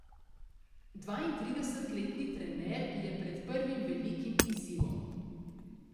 Dvaintridesetletni trener je pred prvim velikim izzivom.